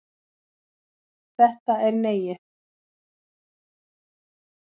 Þetta er Neiið.